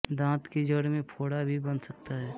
दाँत की जड़ में फोड़ा भी बन सकता है